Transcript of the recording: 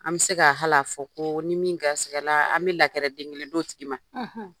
An bɛ se ka hal'a fɔ ko ni min garisikɛ la, an bɛ lakɛrɛ den kelen don tigi ma